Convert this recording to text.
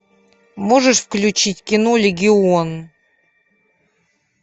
можешь включить кино легион